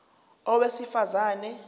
a owesifaz ane